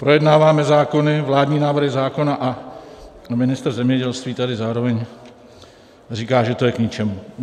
Projednáváme zákony, vládní návrhy zákona, a ministr zemědělství tady zároveň říká, že to je k ničemu.